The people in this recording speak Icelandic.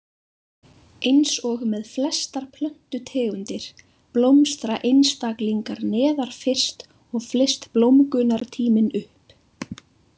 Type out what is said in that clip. Eins og með flestar plöntutegundir, blómstra einstaklingar neðar fyrst og flyst blómgunartíminn upp.